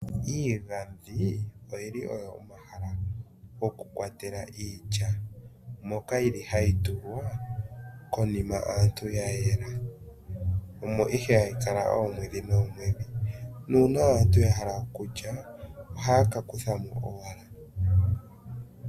Iigadhi oyili omahala gokukwatela iilya omo ihe hayi kala oomwedhi moka nuuna aantu ya hala okulya ohaya ka kutha mo.